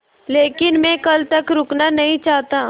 लेकिन मैं कल तक रुकना नहीं चाहता